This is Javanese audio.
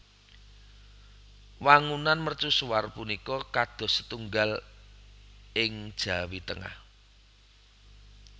Wangunan mercusuar punika kados setunggal ing Jawi Tengah